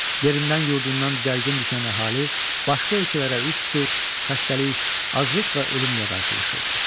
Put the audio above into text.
Yerindən-yurdundan didərgin düşən əhali başqa ölkələrə üz tutur, xəstəlik, aclıq və ölümlə qərşılaşırdı.